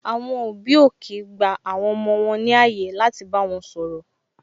Àwọn òbí ò kii gba àwọn ọmọ wọn ní ààyè láti bá wọn sọ̀rọ̀